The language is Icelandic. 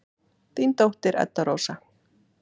Þín dóttir, Edda Rósa.